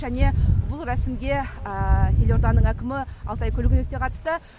және бұл рәсімге елорданың әкімі алтай көлгінов те қатысты